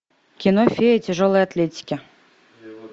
кино фея тяжелой атлетики